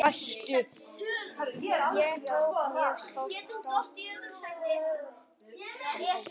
Ég tók mjög stórt stökk fram á við.